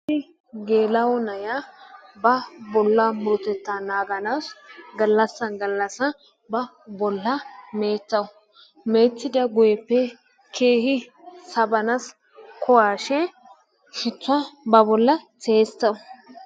Issi geela'o na'iya ba bolaa minotettaa naaganawu galassan galassan ba bolaa meeccawusu, meeccetidooppe keehi sawanaassi kuwaashe shituwa ba boli tiyetawusu.